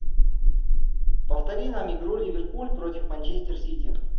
повтори нам игру ливерпуль против манчестер сити